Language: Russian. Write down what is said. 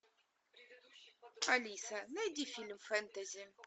алиса найди фильм фэнтези